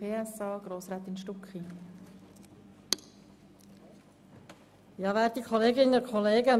Zuerst Grossrätin Stucki für die SP-JUSO-PSA-Fraktion.